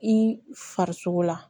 I farisogo la